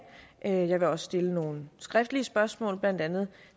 jeg vil også stille nogle skriftlige spørgsmål blandt andet